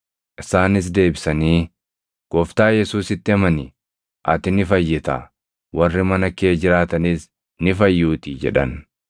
Isaanis deebisanii, “Gooftaa Yesuusitti amani; ati ni fayyitaa; warri mana kee jiraatanis ni fayyuutii” jedhan.